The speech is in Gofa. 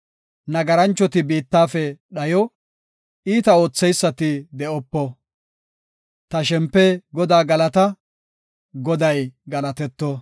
Nagaranchoti biittafe dhayo; iita ootheysati de7opo. Ta shempe, Godaa galata; Goday galatetto.